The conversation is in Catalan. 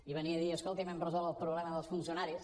i venia a dir escolti’m hem resolt el problema dels funcionaris